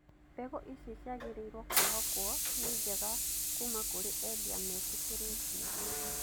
Mbegũ ici ciagĩrĩirwo kwĩhokwo nĩ njega kuma kũrĩ endia metĩkĩrĩtio.